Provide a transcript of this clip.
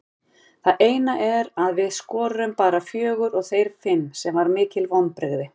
Það eina er að við skoruðum bara fjögur og þeir fimm sem var mikil vonbrigði.